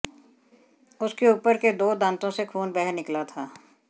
उसके ऊपर के दो दांतों से खून बह निकला था